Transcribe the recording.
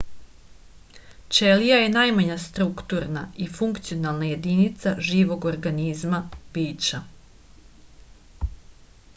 ћелија је најмања структурна и функционална јединица живог организма бића